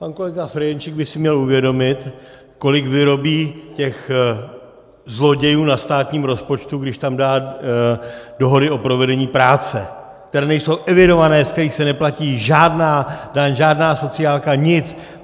Pan kolega Ferjenčík by si měl uvědomit, kolik vyrobí těch zlodějů na státním rozpočtu, když tam dá dohody o provedení práce, které nejsou evidované, ze kterých se neplatí žádná daň, žádná sociálka, nic!